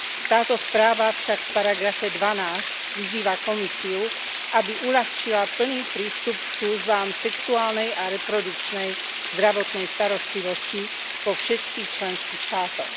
Táto správa však v paragrafe 12 vyzýva Komisiu, aby uľahčila plný prístup k službám sexuálnej a reprodukčnej zdravotnej starostlivosti vo všetkých členských štátoch.